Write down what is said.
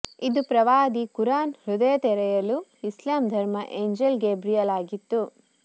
ಇದು ಪ್ರವಾದಿ ಕುರಾನ್ ಹೃದಯ ತೆರೆಯಲು ಇಸ್ಲಾಂ ಧರ್ಮ ಏಂಜೆಲ್ ಗೇಬ್ರಿಯಲ್ ಆಗಿತ್ತು